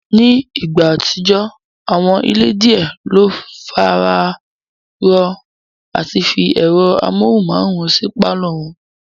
Ní ìgbà àtijọ́, àwọn ilé díẹ̀ le fararọ́ọ àti fi ẹ̀rọ amóhùnmáwòrán sí pálọ̀ wọn